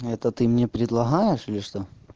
это ты мне предлагаешь или что